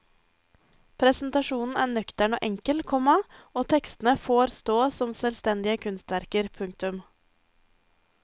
Presentasjonen er nøktern og enkel, komma og tekstene får stå som selvstendige kunstverker. punktum